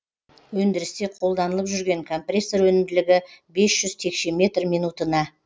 өндірісте қолданылып жүрген компрессор өнімділігі бес жүз текше метр минутына